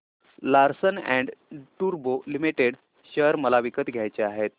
Larsen and टुर्बो limited share मला विकत घ्यायचे आहेत